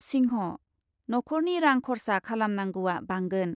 सिंह, नख'रनि रां खरसा खालामनांगौआ बांगोन ।